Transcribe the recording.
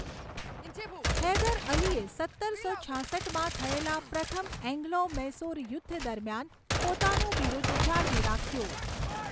હૈદર અલીએ સત્તરસો છાસઠમાં થયેલા પ્રથમ એંગ્લો મૈસૂર યુદ્ધ દરમિયાન પોતાનું બિરુદ જાળવી રાખ્યું.